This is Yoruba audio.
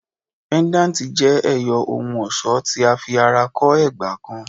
Pendanti jẹ ẹyọ ohun-ọṣọ ti a fi ara kọ ẹgba kan